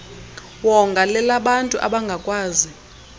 wonga lelabantu abangakwazi